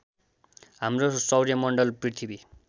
हाम्रो सौर्यमण्डल पृथ्वी